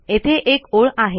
येथे एक ओळ आहे